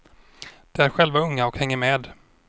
De är själva unga och hänger med.